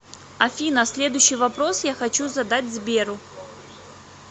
афина следующий вопрос я хочу задать сберу